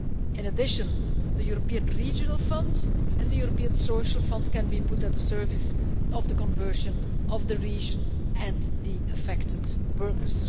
In addition, the European Regional Fund and the European Social Fund can be put at the service of the conversion of the region and the affected workers.